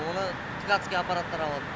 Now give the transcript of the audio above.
оны ткатцкий аппараттар алады